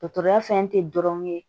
Dɔtɔrɔya fɛn tɛ dɔrɔn ye